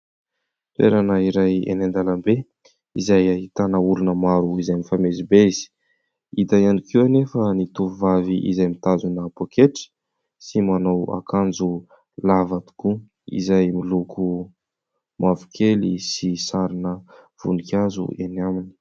Toerana iray eny an-dalambe izay ahitana olona maro izay mifamezivezy. Ita ihany koa anefa ny tovovavy izay mitazona pôketra sy manao akanjo lava tokoa izay miloko mavokely sy sarina voninkazo eny aminy.